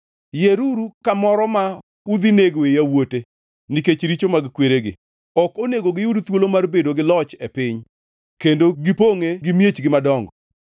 Yieruru kamoro ma udhi negoe yawuote nikech richo mag kweregi; ok onego giyud thuolo mar bedo gi loch e piny kendo gipongʼe gi miechgi madongo.